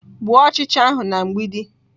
Gbuo ọchịcha ahụ na mgbidi!